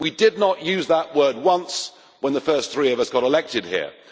We did not use that word once when the first three of us got elected here.